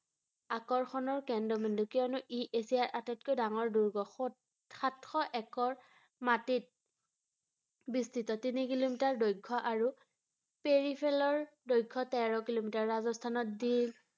আকৰ্ষণৰ কেন্দ্ৰবিন্দু ৷ কিয়নো ই এছিয়াৰ আটাইতকৈ ডাঙৰ দুৰ্গ ৷ সত~সাতশ একৰ মাটিত বিস্তৃত ৷ তিনি কিলোমিটাৰ দৈৰ্ঘ্য আৰু দৈৰ্ঘ্য তেৰ কিলোমিটাৰ ৷ ৰাজস্থানত যি